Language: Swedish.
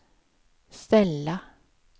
ställa